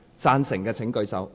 贊成的請舉手。